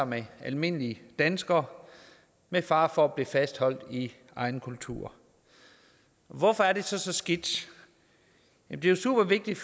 med almindelige danskere med fare for at blive fastholdt i egen kultur hvorfor er det så så skidt det er super vigtigt